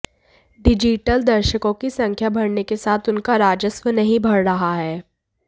digital दर्शकों की संख्या बढऩे के साथ उनका राजस्व नहीं बढ़ रहा है